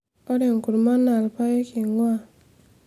ore enkurma naa ilpayek einguaa